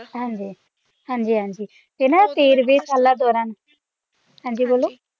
ਹਾਂ ਜੀ ਹਾਂ ਜੀ ਹਾਂ ਜੀ ਤੇ ਨਾ ਤੇਰਵੇਂ ਸਾਲਾਂ ਦੌਰਾਨ ਹਾਂ ਜੀ ਬੋਲੋ